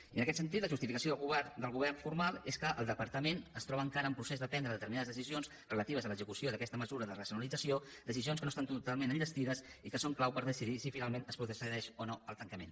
i en aquest sentit la justificació del govern formal és que el departament es troba encara en procés de prendre determinades decisions relatives a l’execució d’aquesta mesura de racionalització decisions que no estan totalment enllestides i que són clau per decidir si finalment es procedeix o no al tancament